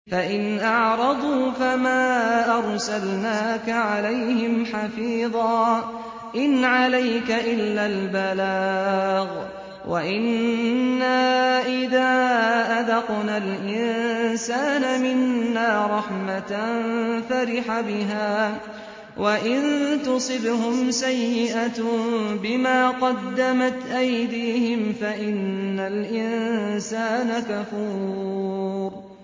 فَإِنْ أَعْرَضُوا فَمَا أَرْسَلْنَاكَ عَلَيْهِمْ حَفِيظًا ۖ إِنْ عَلَيْكَ إِلَّا الْبَلَاغُ ۗ وَإِنَّا إِذَا أَذَقْنَا الْإِنسَانَ مِنَّا رَحْمَةً فَرِحَ بِهَا ۖ وَإِن تُصِبْهُمْ سَيِّئَةٌ بِمَا قَدَّمَتْ أَيْدِيهِمْ فَإِنَّ الْإِنسَانَ كَفُورٌ